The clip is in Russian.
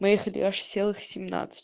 мы ехали аж целых семнадцать